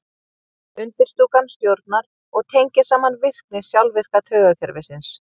undirstúkan stjórnar og tengir saman virkni sjálfvirka taugakerfisins